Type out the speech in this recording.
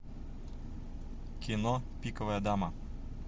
кино пиковая дама